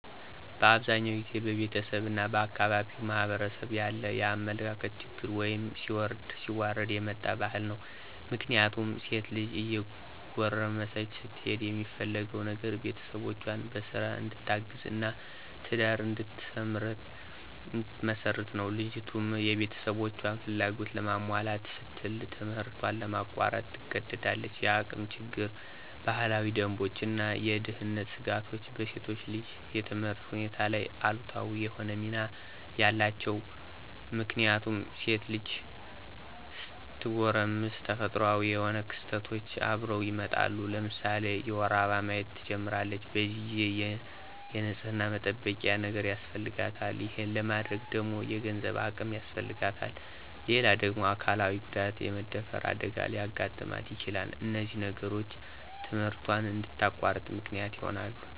በአብዛኛው ጊዜ በቤተሰብ እና በአካባቢው ማህበረሰብ ያለ የአመለካከት ችግር ወይም ሲወርድ ሲዋረድ የመጣ ባህል ነው። ምክንያቱም ሴት ልጅ እየጎረመሰች ስትሄድ የሚፈለገው ነገር ቤተሰቦቿን በስራ እንድታግዝ እና ትዳር እንድትመሰርት ነው። ልጅቱም የቤተሰቦቿን ፍላጎት ለማሟላት ስትል ትምህርቷን ለማቋረጥ ትገደዳለች። የአቅም ችግር፣ ባህላዊ ደንቦች እና የደህንነት ስጋቶች በሴት ልጅ የትምህርት ሁኔታ ላይ አሉታዊ የሆነ ሚና ነው ያላቸው። ምክንያቱም ሴት ልጅ ስትጎረምስ ተፈጥሮአዊ የሆኑ ክስተቶች አብረው ይመጣሉ። ለምሳሌ የወር አበባ ማየት ትጀምራለች። በዚህ ጊዜ የንፅህና መጠበቂያ ነገር ያስፈልጋታል። ይሄን ለማድረግ ደግሞ የገንዘብ አቅም ያስፈልጋታል። ሌላው ደግሞ አካላዊ ጉዳት( የመደፈር አደጋ) ሊያጋጥማት ይችላል። እነዚህ ነገሮች ትምህርቷን እንድታቋርጥ ምክንያት ይሆናሉ።